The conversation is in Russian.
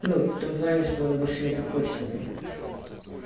ну в том плане что он больше не захочет этого